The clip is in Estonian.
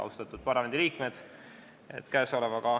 Austatud parlamendiliikmed!